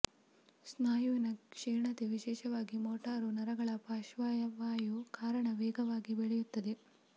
ಸ್ನಾಯುವಿನ ಕ್ಷೀಣತೆ ವಿಶೇಷವಾಗಿ ಮೋಟಾರು ನರಗಳ ಪಾರ್ಶ್ವವಾಯು ಕಾರಣ ವೇಗವಾಗಿ ಬೆಳೆಯುತ್ತದೆ